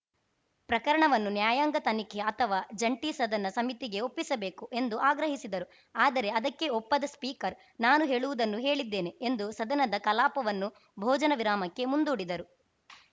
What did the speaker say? ಪ್ರಕರಣವನ್ನು ನ್ಯಾಯಾಂಗ ತನಿಖೆ ಅಥವಾ ಜಂಟಿ ಸದನ ಸಮಿತಿಗೆ ಒಪ್ಪಿಸಬೇಕು ಎಂದು ಆಗ್ರಹಿಸಿದರು ಆದರೆ ಅದಕ್ಕೆ ಒಪ್ಪದ ಸ್ಪೀಕರ್‌ ನಾನು ಹೇಳುವುದನ್ನು ಹೇಳಿದ್ದೇನೆ ಎಂದು ಸದನದ ಕಲಾಪವನ್ನು ಭೋಜನ ವಿರಾಮಕ್ಕೆ ಮುಂದೂಡಿದರು